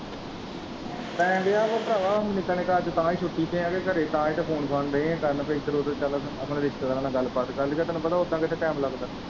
ਪੈਣ ਦਿਆ ਹੀ ਭਰਾਵਾ ਨਿੱਕਾ ਨਿੱਕਾ ਅੱਜ ਤਾਂ ਹੀ ਛੁੱਟੀ ਤੇ ਹੈ ਘਰੇ ਤਾਂ ਹੀ ਤੇ ਫੋਨ ਕਰਨ ਦੇ ਹੈ ਇੱਧਰ ਉੱਧਰ ਆਪਣੇ ਰਿਸਤੇਦਾਰਾਂ ਨਾਲ ਗੱਲਬਾਤ ਕਰ ਲਈਏ ਤੈਨੂੰ ਪਤਾ ਉੱਦਾਂ ਕਿੱਥੇ time ਲੱਗਦਾ।